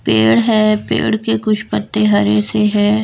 पेड़ है पेड़ के कुछ पत्ते हरे से हैं।